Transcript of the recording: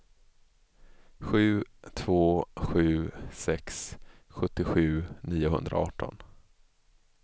sju två sju sex sjuttiosju niohundraarton